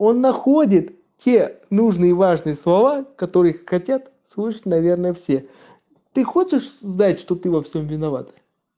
он находит те нужные важные слова которые хотят слышать наверное все ты хочешь знать что ты во всем виновата